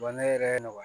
Bana yɛrɛ wa